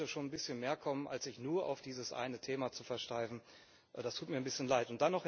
Da sollte schon ein bisschen mehr kommen, als sich nur auf dieses eine Thema zu versteifen, das tut mir ein bisschen leid.